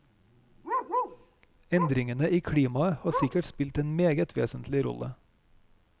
Endringene i klimaet har sikkert spilt en meget vesentlig rolle.